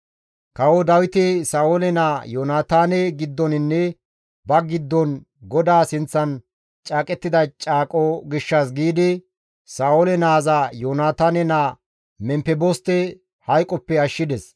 Kawo Dawiti Sa7oole naa Yoonataane giddoninne ba giddon GODAA sinththan caaqettida caaqo gishshas giidi Sa7oole naaza Yoonataane naa Memfeboste hayqoppe ashshides.